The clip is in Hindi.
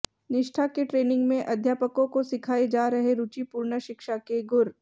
निष्ठा के ट्रेनिंग में अध्यापकों को सिखाये जा रहें रुचिपूर्ण शिक्षा के गुर